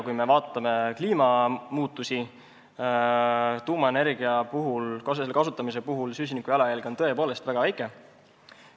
Kui me vaatame kliimamuutusi, siis näeme, et tuumaenergia kasutamisel on süsinikujalajälg tõepoolest väga väike.